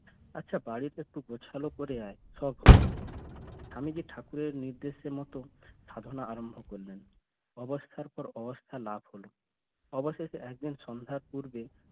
আচ্ছা বাড়িতে একটু গোছালো করে আয় সব হবে আমি যে ঠাকুরের নির্দেশের মতো সাজানো আরম্ভ করলাম অবস্থার পর অবস্থা লাভ হল অবশেষে একদিন সন্ধ্যার পূর্বে